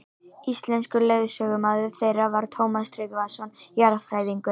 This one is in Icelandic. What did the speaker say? Íslenskur leiðsögumaður þeirra var Tómas Tryggvason jarðfræðingur.